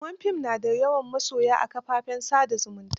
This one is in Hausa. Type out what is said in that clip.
Jaruman fim na da yawan masoya a kafafen sa da zumunta.